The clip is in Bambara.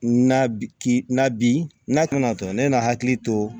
Na bi ke na bi n'a tɛna tɔtɔ ne n'a hakili to